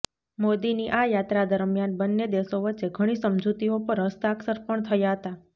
મોદીની આ યાત્રા દરમિયાન બંન્ને દેશો વચ્ચે ઘણી સમજૂતીઓ પર હસ્તાક્ષર પણ થયા હતા